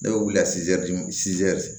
Ne bɛ wuli ka